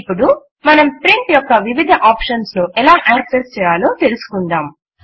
ఇప్పుడు మనం ప్రింట్ యొక్క వివిధ ఆప్షన్స్ ను ఎలా యాక్సెస్ చేయాలో తెలుసుకుందాం